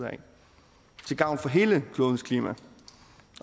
til gavn for hele klodens klima